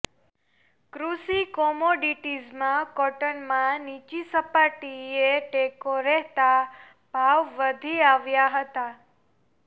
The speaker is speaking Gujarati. કૃષિ કોમોડિટીઝમાં કોટનમાં નીચી સપાટીએ ટેકો રહેતાં ભાવ વધી આવ્યા હતા